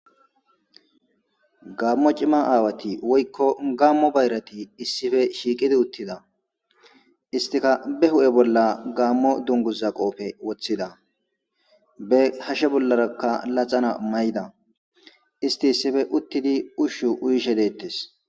gammo cima aawati woykko gammo bayrati issife shiiqidi uttida istika be hu7e bolla gaammo dunguzaqofe woththida be hashe bollarakka laxana may7ida isti issife uttidi ushshu uyishe deettes